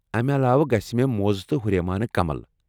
امہِ علاوٕ ، گژھِ مےٚ موزٕ تہٕ ہُریمانہٕ کمل ۔